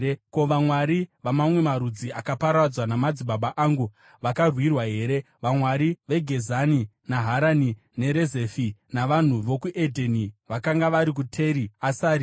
Ko, vamwari vamamwe marudzi akaparadzwa namadzibaba angu vakavarwira here, vamwari veGezani, neHarani neRezefi navanhu vokuEdheni vakanga vari kuTeri Asari?